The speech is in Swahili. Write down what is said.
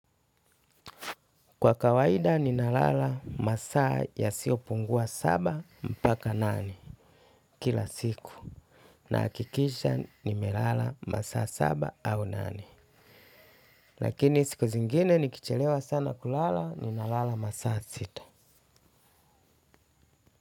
Kwa kawaida ninalala masaa yasiopungua saba mpaka nane kila siku. Naakikisha nimelala masaa saba au nane. Lakini siku zingine nikichelewa sana kulala ninalala masaa sita.